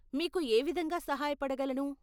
మీకు ఏ విధంగా సహాయపడగలను?